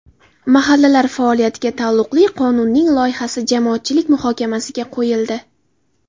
Mahallalar faoliyatiga taalluqli qonunning loyihasi jamoatchilik muhokamasiga qo‘yildi.